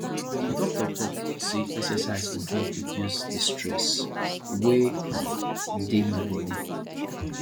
di doctor tok sey exercise go help reduce di stress wey um dey my bodi